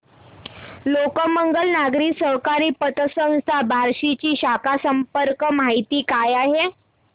लोकमंगल नागरी सहकारी पतसंस्था बार्शी ची शाखा संपर्क माहिती काय आहे